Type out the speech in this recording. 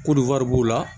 Ko wari b'u la